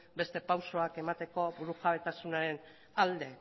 beste pausuak emateko burujabetasunaren alde